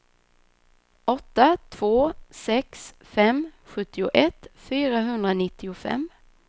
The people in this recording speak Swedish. åtta två sex fem sjuttioett fyrahundranittiofem